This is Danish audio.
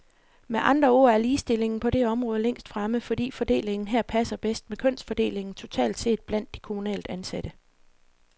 Med andre ord er ligestillingen på det område længst fremme, fordi fordelingen her passer bedst med kønsfordelingen totalt set blandt de kommunalt ansatte.